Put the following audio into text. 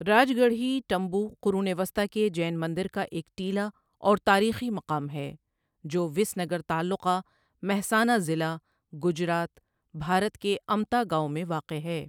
راج گڑھی ٹمبو قرون وسطی کے جین مندر کا ایک ٹیلا اور تاریخی مقام ہے جو وِس نگر تعلقہ، مہسانہ ضلع، گجرات، بھارت کے امتا گاؤں میں واقع ہے۔